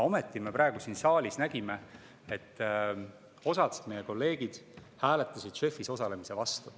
Ometi, praegu me siin saalis nägime, et osa meie kolleege hääletas JEF-is osalemise vastu.